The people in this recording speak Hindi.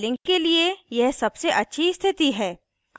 फाइलिंग के लिए यह सबसे अच्छी स्थिति है